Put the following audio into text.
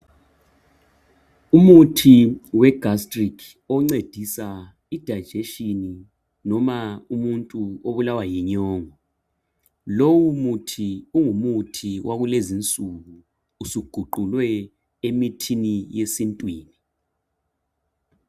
Umuthi we gastric oncedisa idigestion loma umuntu obulawa yinyongo. Lowu muthi ungumuthi wakulezi nsuku usuguqukwe emithini yesintwini.